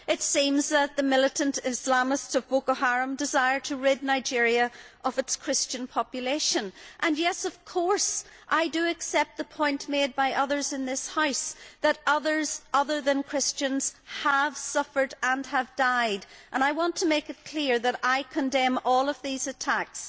It seems that the militant Islamists of Boko Haram desire to rid Nigeria of its Christian population. Of course I accept the point made by others in this House that others apart from Christians have suffered and died, and I want to make it clear that I condemn all these attacks.